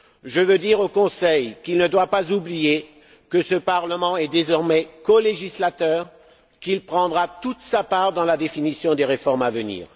Je veux dire au Conseil qu'il ne doit pas oublier que ce Parlement est désormais colégislateur, qu'il prendra toute sa part dans la définition des réformes à venir.